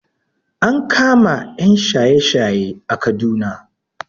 An kama ƴan shaye shaye a Kaduna